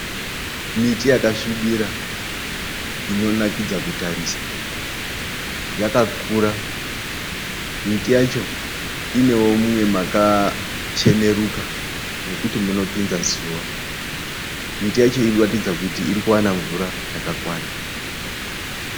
Miti yakasvibira inonakidza kutarisa. Yakakura. Miti yacho inewo mumwe makacheneruka mekuti munopinza zuva. Miti yacho iri kuratidza kuti iri kuwana mvura yakakwana.